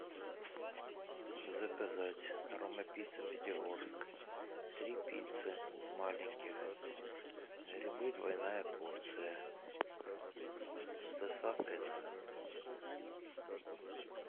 заказать рома пицца пятигорск три пиццы маленьких грибы двойная порция с доставкой на дом